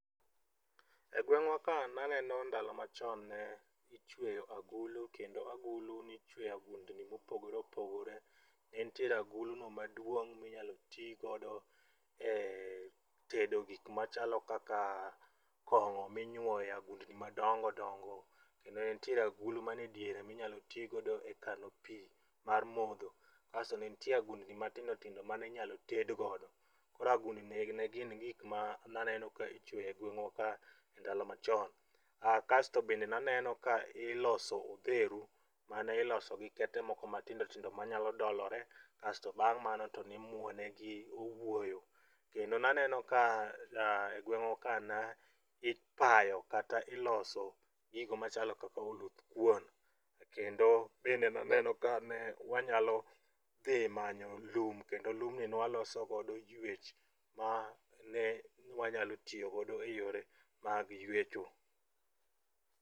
E gweng'wa ka naneno ndalo machon ne ichweyo agulu kendo agulu nichweyo agundni mopogore opogore ne ntiere aguluno maduong' minyalo tigodo e tedo gik machalo kaka kong'o minyuoyo e agundni madongo dongo kendo ne ntiere agulu mane diere minyalo tigodo e kano pi mar modho. Kasto ne nitie agundni matindo tindo ma ne inyalo tedgodo. Koro agundni ne gin gikma naneno ka ichweyo e gweng'wa ka ndalo machon. Kasto bende naneno ka iloso odheru mane iloso gi kete moko matindotindo manyalo dolore kasto bang' mano to nimwone gi owuoyo. Kendo naneno ka e gweng'wa ka ipayo kata iloso gigo machalo kaka oluth kuon kendo bende naneno ka ne wanyalo dhi manyo lum kendo lumni ne waloso godo ywech mane wanyalo tiyogodo e yore mag ywecho.